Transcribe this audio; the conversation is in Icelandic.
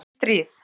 Vötnin stríð.